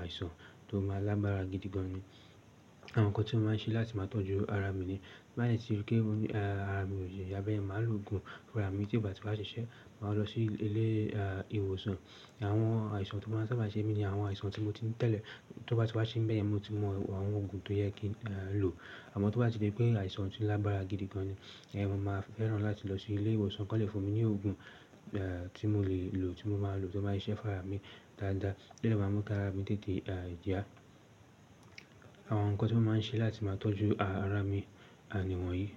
àìsàn tó máa lágbára gidi gan ni. Àwọn ǹkan tí mo máa ń ṣe láti máa tọ́jú ara mi ni, tí bá dẹ̀ tiri pé ara mi ò yá bẹ́ẹ̀rẹ̀, màá lo òògùn fún ara mi, tí ó bá ti wa ṣi ṣẹ́, màá lọ sí ilé ìwòsàn. Àwọn àìsàn tó bá sábà ṣe mi ni àwọn àìsàn tí mo ti ńi tẹ̀lé. Tí ó bá ti waa ṣe mi bẹ́yen, mo ti mọ àwọn òògùn tó yẹ kí n lò. Àmọ́ tí ó bá ti di pé àìsàn tí ó lágbára gidi gan ni, ìyẹn mo máa fẹ́ràn láti lọ sí ilé ìwòsàn kí wọ́n lè fún mi ní òògùn tí mo lè lò, tí mo máa lò tí ó ma ṣise fún ara mi dáadáa. Tí eléyìí máa mú k'ara mi tètè yá. Àwọn ǹkan tí mo máa ń ṣe láti máa tọ́jú ara mi, a, ni wọ̀nyí.